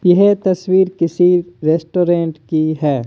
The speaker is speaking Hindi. यह तस्वीर किसी रेस्टोरेंट की है।